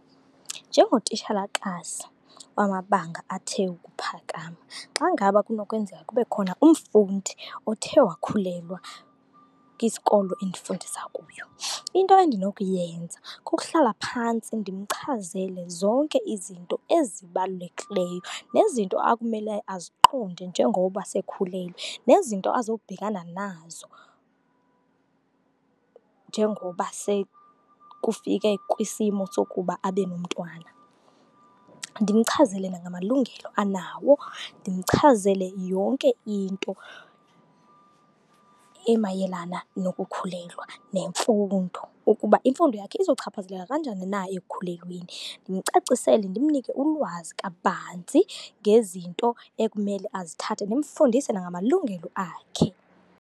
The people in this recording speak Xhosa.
Njengotitshalakazi wamabanga athe ukuphakama, xa ngaba kunokwenzeka kube khona umfundi othe wakhulelwa kwisikolo endifundisa kuyo, into endinokuyenza kukuhlala phantsi ndimchazele zonke izinto ezibalulekileyo nezinto akumele aziqonde njengoba sekhulelwe, nezinto azokubhekana nazo njengoba sekufike kwisimo sokuba abe nomntwana. Ndimchazele nangamalungelo anawo, ndimchazele yonke into emayelana nokukhulelwa nemfundo, ukuba imfundo yakhe izokuchaphazeleka kanjani na ekukhulelweni. Ndimcacisele, ndimnike ulwazi kabanzi ngezinto ekumele azithathe, ndimfundise nangamalungelo akhe.